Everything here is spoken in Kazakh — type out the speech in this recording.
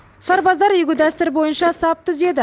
сарбаздар игі дәстүр бойынша сап түзеді